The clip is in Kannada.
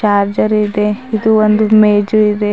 ಚಾರ್ಚರ್ ಇದೆ ಇದು ಒಂದು ಮೇಜು ಇದೆ.